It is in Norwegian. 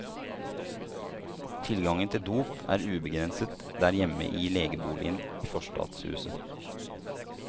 Tilgangen til dop er ubegrenset der hjemme i legeboligen i forstadshuset.